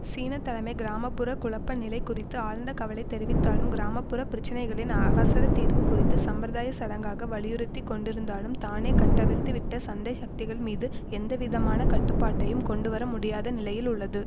சீன தலைமை கிராம புற குழப்பநிலை குறித்து ஆழ்ந்த கவலை தெரிவித்தாலும் கிராம புற பிரச்சனைகளின் அவசர தீர்வு குறித்து சம்பிரதாயச்சடங்காக வலியுறுத்தி கொண்டிருந்தாலும் தானே கட்டவிழ்த்து விட்ட சந்தை சக்திகள் மீது எந்தவிதமான கட்டுப்பாட்டையும் கொண்டுவர முடியாத நிலையில் உள்ளது